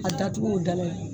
A da tug'u dala ye